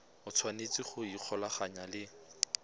o tshwanetse go ikgolaganya le